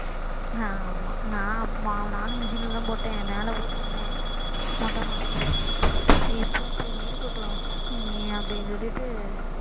ஆமா நான் நானும் machine ல தான் போட்டேன் மேல போட்டு இருந்தேன் மொட்டை மாடியில இப்பவும் சரி இருக்கட்டும் அப்படின்னு சொல்லிட்டு